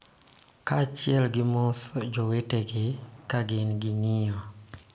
Kaachiel gi mos jowetegi ka gin gi ng�iyo,